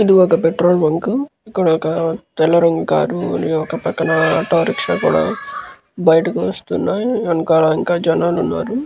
ఇది ఒక petrol bunk . ఇక్కడ ఒక తెల్ల రంగు కారు ఒక పక్కన ఆటో రిక్షా కూడా బైటికి వస్తున్నాయి. వెనకాల ఇంకా జనాలు ఉన్నారు.